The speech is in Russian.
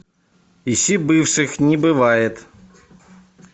ищи бывших не бывает